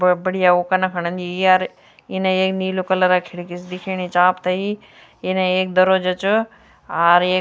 बहौत बढ़िया वू कना खन अन्दी ये अर इने एक नीलू कलर क खिड़की सी दिखेणी च आपथे यी इने एक दरोजा च आर येक --